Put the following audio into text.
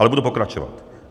Ale budu pokračovat.